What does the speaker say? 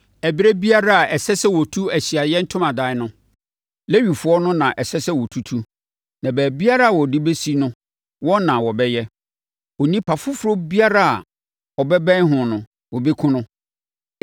Ɛberɛ biara a ɛsɛ sɛ wɔtu Ahyiaeɛ Ntomadan no, Lewifoɔ no na ɛsɛ sɛ wɔtutu, na baabiara a wɔde bɛsi no, wɔn na wɔbɛyɛ. Onipa foforɔ biara a ɔbɛbɛn ho no, wɔbɛkum no.